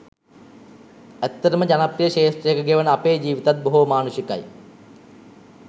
ඇත්තටම ජනප්‍රිය ක්ෂේත්‍රයක ගෙවන අපේ ජීවිතත් බොහෝ මානුෂිකයි.